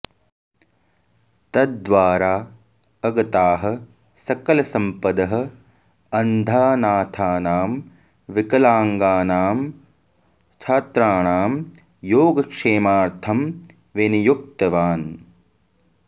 तद्वारा अगताः सकलसम्पदः अन्धानाथानां विकलाङ्गानां छात्राणां योगक्षेमार्थं विनियुक्तवान्